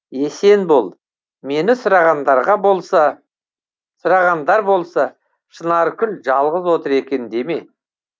есен бол мені сұрағандар болса шынаркүл жалғыз отыр екен деме